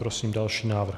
Prosím další návrh.